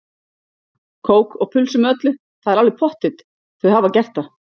Kók og pulsu með öllu, það er alveg pottþétt, þau hafa gert það.